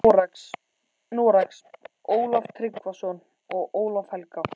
Noregs, Ólaf Tryggvason og Ólaf helga.